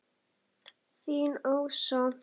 Þín Ása.